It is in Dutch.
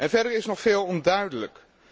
Verder is nog veel onduidelijk.